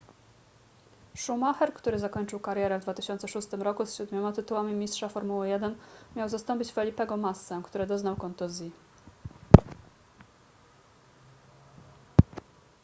schumacher który zakończył karierę w 2006 roku z siedmioma tytułami mistrza formuły 1 miał zastąpić felipego massę który doznał kontuzji